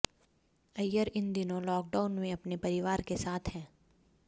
अय्यर इन दिनों लॉकडाउन में अपने परिवार के साथ हैं